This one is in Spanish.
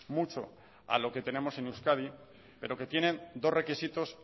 mucho a lo que tenemos en euskadi pero que tienen dos requisitos